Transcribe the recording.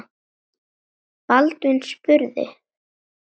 Baldvin spurði